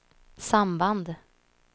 samband